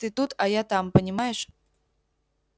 ты тут а я там понимаешь